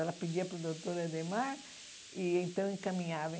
Ela pedia para o doutor Adhemar e então encaminhava.